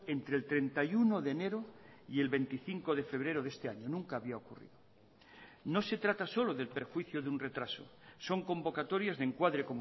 entre el treinta y uno de enero y el veinticinco de febrero de este año nunca había ocurrido no se trata solo del perjuicio de un retraso son convocatorias de encuadre